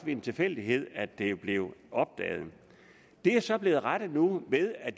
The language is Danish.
ved en tilfældighed at det blev opdaget det er så blevet rettet nu ved at